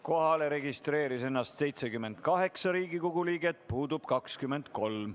Kohalolijaks registreerus 78 Riigikogu liiget, puudub 23.